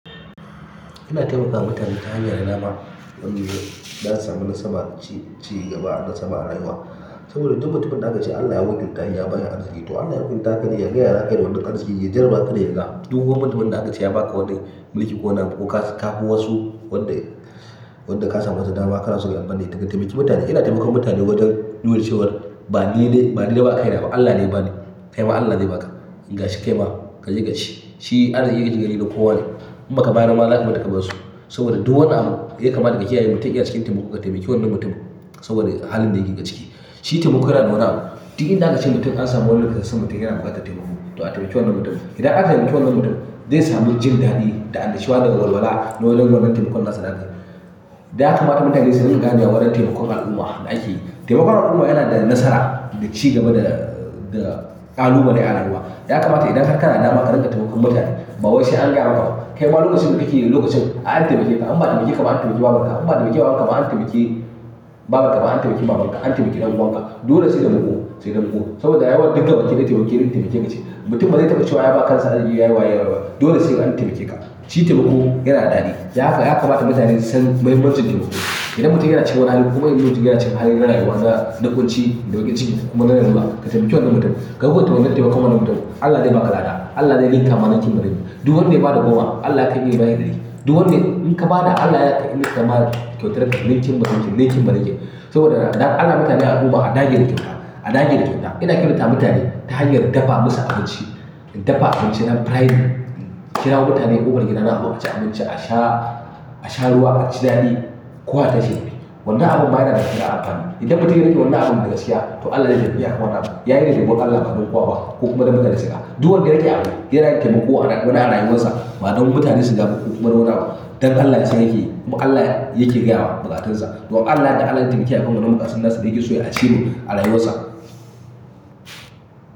Ina taimakawa mutane ta hanyar da na ba wanda ya samu nasara ci gaba da sama a rayuwa. Saboda duk mutum da aka ciyar da Allah ya girmaya ya bayar da arziki to Allah ya girmata haka da ya gaya wa haka da wanda kan sa ya jaraba kada yaga duk wani mutumin da aka ciyar ba ka wanda mulki ko na kafuwasu wanda, wanda ka samu masa dama kana so ya amfane daga taimaki mutane. Ina taimakawa mutane wajen dulun cewa ba ni ne ba ni da ba kai na ba Allah ne ya ba ni. Kai ma Allah zai ba ka in ka shika yi ma ka jiƙa shi. Shi Allah yake jigari ga kowane kuma ka bayarwa wa za su mata kabarsu. Saboda duk wani abu yake kamata ka yi ai mutum yana cikin taimako ka taimaki wannan mutumin saboda halin da yake ciki. Shi taimako yana da wa duk inda aka ciyar mutum an samu wanda ya kasance mutum yana buƙatar taimako to a taimaki wannan mutumin. Idan aka taimaki wannan mutum zai sami jin daɗi da annashuwa da walwala na wannan taimakon nasa dake. Ya kamata mutane su riƙa gane warin taimakon al'umma da ake yi. Taimakon al'umma yana da nasara da ci gaba da, da ƙalubale dai ta al'umma. Ya kamata idan har ka na dama ka riƙa taimakon mutane ba wai sai an gaya maka. Kai ma lokacin da kike lokacin a'a taimake ka an ba taimake ka ba an taimake babanka an ba taimake wawanka ba an taimake babanka ba an taimake mamanka an taimake ɗan uwanka dole sai da muƙu sai da muƙu. Saboda ya yawan ɗinka waje dai taimake dai taimake ka ci. Mutum bazai taɓa cewa ya ba kansa arziki yayi wayewaye ba dole sai an taimake ka. Shi taimako yana daɗi da haka ya kamata mutane su san mahimmancin taimako. Idan mutum yana cikin wani hali kuma in mutum yana cikin hali na rayuwarsa na ƙunci da bakin ciki kuma larula ka taimaki wannan mutum ka guɓa ta yarda ka taimaka wannan mutum Allah zai ba ka lada Allah zai yi zamaninki bariki. Duk wanda ya ba da goma Allah ya kai yi bayar ɗari. Duk wanda in ka ba da Allah ya kai yi masa kyautar ka ninkin barikin ninkin barikin. Saboda dan Allah mutane a koma a dage da kyata a dage da kyauta ina kyautatawa mutane ta hanyar dafa musu abinci in dafa abinci na frying in kirawo mutane ƙofar gidana muzo muci abinci a sha a sha ruwa aci daɗi kowa ya tashi ya tafi. Wannan abun ma yana da amfani. Idan mutum ya riƙi wannan abun da ya saya to Allah zai iya biya ka warana. Yayi riƙe mun Allah kafin kwakwa kuma da mutane suka. Duk wanda ya riƙe abu ya riƙe taimako a wani a rayuwarsa ma don mutane su gane kuma don nuna wa don Allah ce yake muƙalla yake gaya wa bukatunsa. To Allah ne Allah ya taimake kafin na makarinsa da yake so ya achieving a rayuwarsa.